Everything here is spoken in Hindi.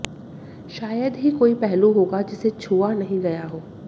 शायद ही कोई पहलू होगा जिसे छुआ नहीं गया हो